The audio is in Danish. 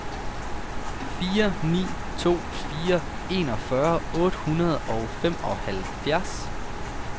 fire ni to fire enogfyrre otte hundrede og femoghalvfjerds